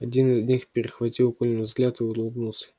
один из них перехватил колин взгляд и улыбнулся